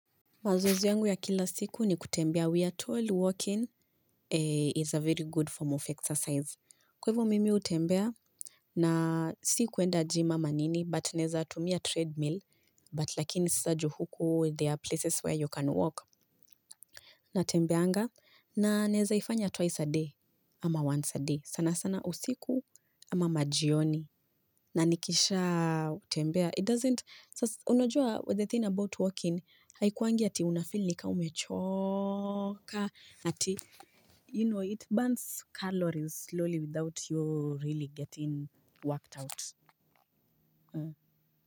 Mazoezi yangu ya kila siku ni kutembea, we are tall walking is a very good form of exercise. Kwa hivyo mimi hutembea, na si kwenda gym ama nini, but naweza tumia treadmill, but lakini sasa juu huku there are places where you can walk. Natembeanga, na naweza ifanya twice a day, ama once a day, sana sana usiku ama majioni. Na nikishatembea, it doesn't, sasa unajua the thing about walking, haikuwangi ati unafeel ni kama umechoka, ati, you know, it burns calories slowly without you really getting worked out.